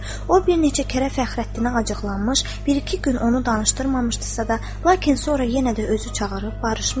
O bir neçə kərə Fəxrəddinə acıqlanmış, bir-iki gün onu danışdırmamışdısa da, lakin sonra yenə də özü çağırıb barışmışdı.